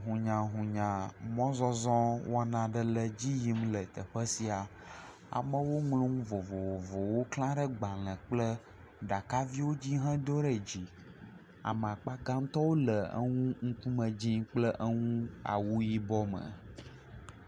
Hunyahunya mɔzɔzɔ aɖe le edzi yim le teƒe sia, amewo ŋlɔ nu vovovowo kla ɖe agbalẽ kple ɖakaviwo dzi hedo ɖe dzi ame akpa gãtɔwo le enu dzɛ̃kple awu yibɔ me.